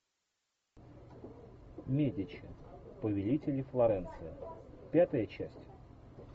медичи повелители флоренции пятая часть